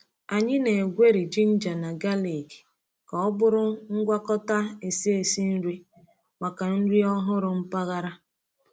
Anyị na-egweri ginger na galik ka ọ bụrụ ngwakọta esi esi nri maka nri ọhụrụ mpaghara.